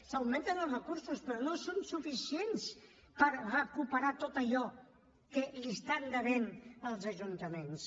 s’augmenten els recursos però no són suficients per recuperar tot allò que deuen als ajuntaments